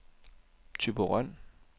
Thyborøn